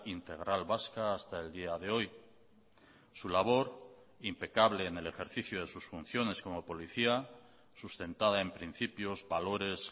integral vasca hasta el día de hoy su labor impecable en el ejercicio de sus funciones como policía sustentada en principios valores